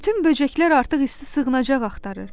Bütün böcəklər artıq isti sığınacaq axtarır.